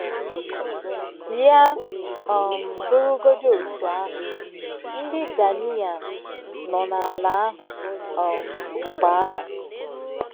Ya um bụrụgodị otú ahụ, “ ndị Ghanaian nọ n’ala ahụ um mgbe ahụ. ”